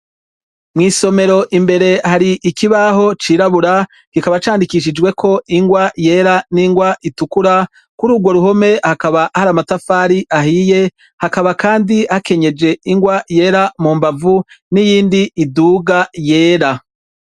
Mwisomero imbere hari ikibaho cirabura kikaba candikishijweko ingwa yera n' ingwa itukura kuri ugwo ruhome hakaba hari amatafari ahiye hakaba kandi hakenyeje ingwa yera mumbavu n' iyindi iduga yera.